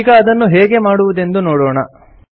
ಈಗ ಅದನ್ನು ಹೇಗೆ ಮಾಡುವುದೆಂಬುದನ್ನು ನೋಡೋಣ